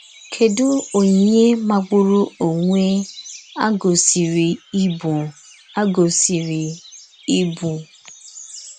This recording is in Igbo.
Kèdù onyìnyè màgbùrù onwe à gòsìrì íbụ̀! à gòsìrì íbụ̀!